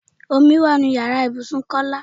Omi wá nínú ìyára ibùsùn Kọ́lá.